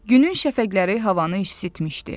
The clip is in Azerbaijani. Günün şəfəqləri havanı isitmişdi.